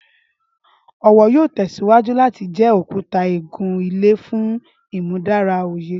Ọwọ yoo tẹsiwaju lati jẹ okuta igun-ile fun imudara oye.